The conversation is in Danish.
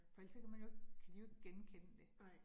For ellers så kan man jo ikke, kan de jo ikke genkende det